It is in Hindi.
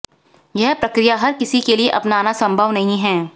यह प्रक्रिया हर किसी के लिए अपनाना संभव नहीं है